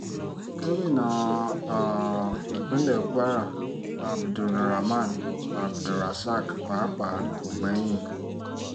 gomina um ìpínlẹ̀ kwara abdul raman abdulrasaq pàápàá kò gbẹ́yìn